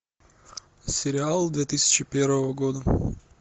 сериал две тысячи первого года